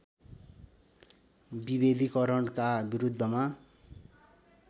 विभेदिकरणका विरुद्धमा